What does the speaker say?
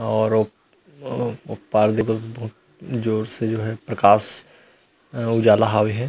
और ओप अ ओ पार जोर से जो हे प्रकाश उजला हवे हे।